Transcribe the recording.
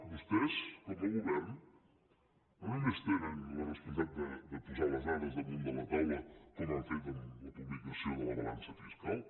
vostès com a govern no només tenen la responsabilitat de posar les dades damunt de la taula com han fet amb la publicació de la balança fiscal